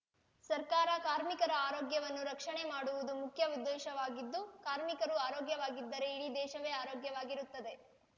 ಸರ್ಕಾರ ಕಾರ್ಮಿಕರ ಆರೋಗ್ಯವನ್ನು ರಕ್ಷಣೆ ಮಾಡುವುದು ಮುಖ್ಯ ಉದ್ದೇಶವಾಗಿದ್ದು ಕಾರ್ಮಿಕರು ಆರೋಗ್ಯವಾಗಿದ್ದರೆ ಇಡೀ ದೇಶವೇ ಆರೋಗ್ಯವಾಗಿರುತ್ತದೆ